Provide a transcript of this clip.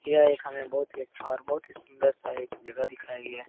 यह एक हमें बहोत ही अच्छा और बहोत ही सुन्दर सा एक जगह दिखाया गया है।